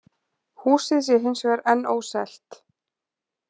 Húsið sé hins vegar enn óselt